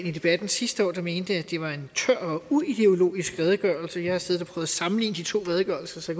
i debatten sidste år der mente at det var en tør og uideologisk redegørelse jeg har siddet og prøvet at sammenligne de to redegørelser så